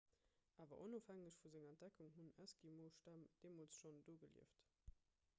awer onofhängeg vu senger entdeckung hunn eskimostämm deemools schonn do gelieft